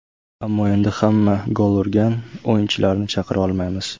Ammo endi hamma gol urgan o‘yinchilarni chaqira olmaymiz.